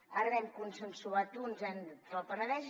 ara n’hem consensuat un entre el penedès